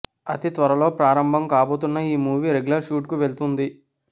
అతి త్వరలో ప్రారంభం కాబోతోన్న ఈ మూవీ రెగ్యులర్ షూట్ కు వెళుతుంది